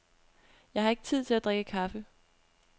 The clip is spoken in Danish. Jeg havde ikke tid til at drikke kaffe.